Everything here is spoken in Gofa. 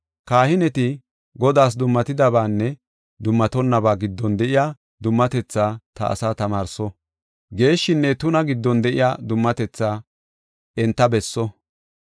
“Kahineti Godaas dummatidabaanne dummatonnaba giddon de7iya dummatethaa ta asaa tamaarso; geeshshinne tuna giddon de7iya dummatethaa enta besso.